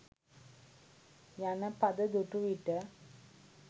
යන පද දුටු විට